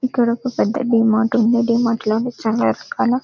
ఇక్కడ ఒక పెద్ద డి మార్ట్ ఉంది డి మార్ట్ లోని చాలా రకాల.